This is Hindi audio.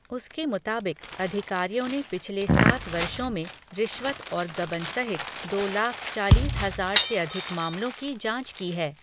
उसके मुताबिक़, अधिकारियों ने पिछले सात वर्षों में रिश्वत और गबन सहित दो लाख चालीस हजार से अधिक मामलों की जाँच की है।